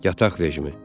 Yataq rejimi.